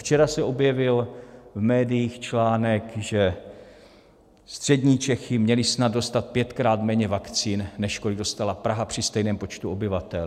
Včera se objevil v médiích článek, že střední Čechy měly snad dostat pětkrát méně vakcín, než kolik dostala Praha při stejném počtu obyvatel.